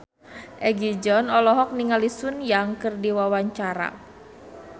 Egi John olohok ningali Sun Yang keur diwawancara